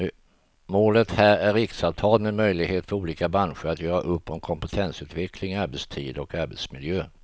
Målet här är riksavtal med möjlighet för olika branscher att göra upp om kompetensutveckling, arbetstider och arbetsmiljö.